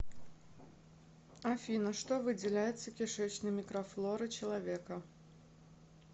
афина что выделяется кишечной микрофлорой человека